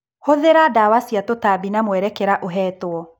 Hũthĩra ndawa cia tũtambi na mwerekera ũhetwo.